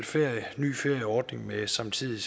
ferie ny ferieordning med samtidighed